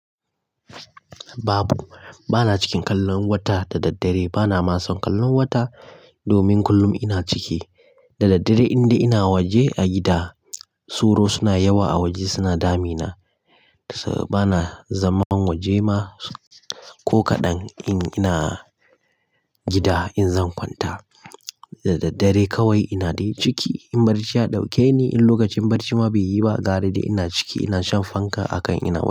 Babu, bana cikin kallon wata da daddare. Bana ma son kallon wata domin kullum ina ciki. Da daddare, inda ina waje a gida, sauro suna yawa a waje, suna damina. Bana zaman waje ma ko kaɗan in ina gida, in zan kwanta. Da daddare kawai ina dai ciki. In barci ya ɗauke ni, in lokacin barci ma bai yi ba, garadai ina ciki. Ina shan fanka a kaina.